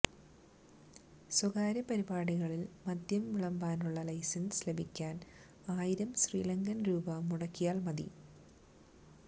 സ്വകാര്യപരിപാടികളില് മദ്യം വിളമ്പാനുള്ള ലൈസന്സ് ലഭിക്കാന് ആയിരം ശ്രീലങ്കന് രൂപ മുടക്കിയാല് മതി